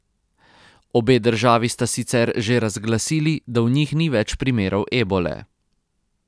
Obe državi sta sicer že razglasili, da v njih ni več primerov ebole.